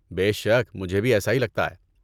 بے شک، مجھے بھی ایسا ہی لگتا ہے۔